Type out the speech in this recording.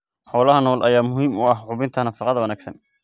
Xoolaha nool ayaa muhiim u ah hubinta nafaqada wanaagsan.